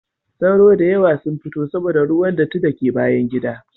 Sauro da yawa sun fito saboda ruwan datti da ke bayan gida.